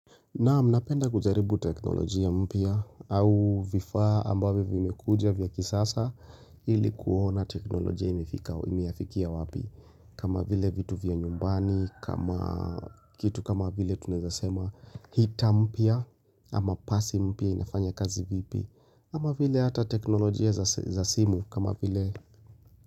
Naam napenda kujaribu teknolojia mpya au vifaa ambavyo vimekuja vya kisasa ili kuona teknolojia imefikia wapi. Kama vile vitu vya nyumbani, kitu kama vile tunaezasema gita mpya ama pasi mpya inafanya kazi vipi. Ama vile hata teknolojia za simu kama vile.